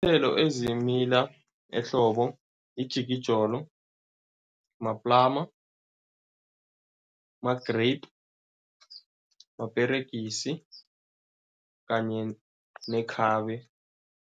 Iinthelo ezimila ehlobo ijikijolo, maplama, ma-grape, maperegisi kanye nekhabe.